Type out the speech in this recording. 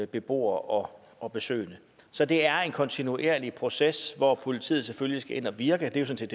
beboere og og besøgende så det er en kontinuerlig proces hvor politiet selvfølgelig skal ind og virke det er sådan